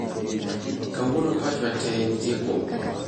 Kawuono pachwa tee nitie kuom Gor